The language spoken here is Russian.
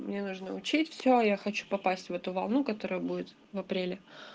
мне нужно учить все я хочу попасть в эту волну которая будет в апреле